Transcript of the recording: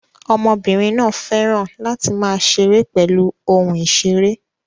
Ọmọbìnrin náà fẹ́ràn láti máa ṣeré pẹ̀lú ohun ìṣeré